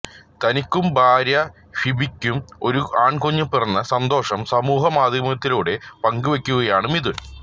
തനിക്കും ഭാര്യ ഫിബിയ്ക്കും ഒരു ആൺകുഞ്ഞ് പിറന്ന സന്തോഷം സമൂഹമാധ്യമങ്ങളിലൂടെ പങ്കുവയ്ക്കുകയാണ് മിഥുൻ